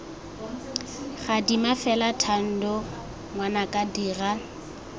gadima fela thando ngwanaka dira